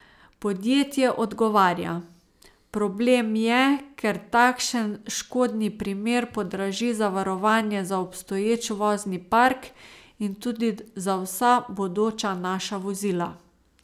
Podjetje odgovarja: "Problem je, ker takšen škodni primer podraži zavarovanje za obstoječ vozni park in tudi za vsa bodoča naša vozila...